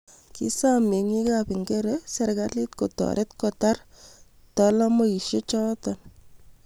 kisom meng'ikab Ngere serkali kotoret kotar talamoicgoto